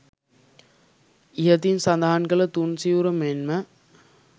ඉහතින් සඳහන් කළ තුන් සිවුර මෙන් ම